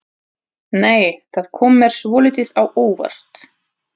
Nei! Það kom mér svolítið á óvart!